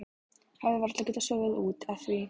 Hafi varla getað sofið út af því.